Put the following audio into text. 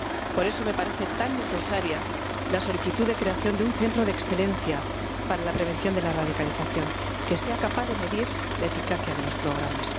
Por eso me parece tan necesaria la solicitud de creación de un Centro de Excelencia para la Prevención de la Radicalización, que sea capaz de medir la eficacia de los programas.